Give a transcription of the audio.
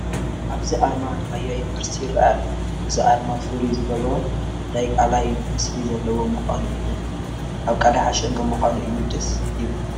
ኣብዚ ኣርማ ራያ ዩኒቨርሲቲ ይርአ ኣሎ፡፡ እዚ ኣርማ ፍሉይ ዝገብሮ ናይ ቃላይ ምስሊ ዘለዎ፡፡ ምዃኑ እዩ፡፡ እዚ ቃላይ ሓሸን ምዃኑ እዩ፡፡ ደስ ይብል፡፡